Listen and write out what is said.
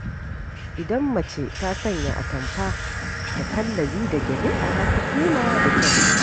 Idan mace ta sanya atamfa da kallabi da gyale ta fi kima da kyau.